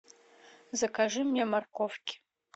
закажи мне морковки